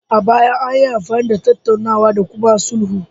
A baya, anyi amfani da tattaunawa da kuma sulhu